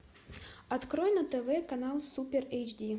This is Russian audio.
открой на тв канал супер эйч ди